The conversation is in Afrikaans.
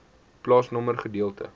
plaasnommer gedeelte